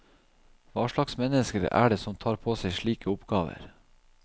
Hva slags mennesker er det som tar på seg slike oppgaver?